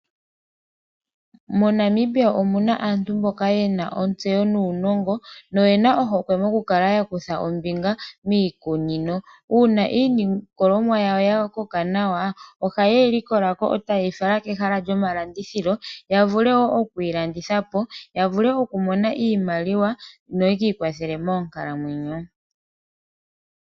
Mo Namibia omuna aantu mboka yena ontseyo nuunongo mo kukala yakudha ombinga miikunino uuna iilikolwamo yawo yakoka nawa ohaye yilikolako eta yeyifala kehala lyomalandithilo yavulu okwiilandithapo ya vule okumona iimaliwa no ye kiikwathele moonkalamwenyo .